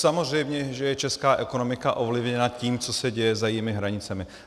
Samozřejmě že je česká ekonomika ovlivněna tím, co se děje za jejími hranicemi.